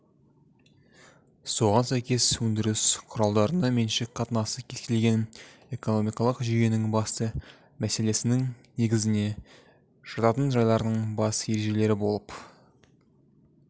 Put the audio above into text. соған сәйкес өндіріс құралдарына меншік қатынасы кез келген экономикалық жүйенің басты мәселесінің негізіне жататын жайлардын бас ережелері болып